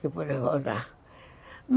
Que podia rodar.